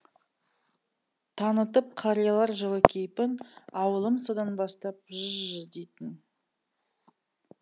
танытып қариялар жылы кейпін ауылым содан бастап ж жы дейтін